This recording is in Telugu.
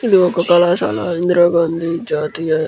ఇది ఒక కళాశాల ఇందిరా గాంధీ జాతీయ --